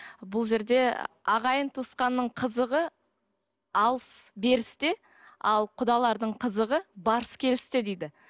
бұл жерде ағайын туысқанның қызығы алыс берісте ал құдалардың қызығы барыс келісте дейді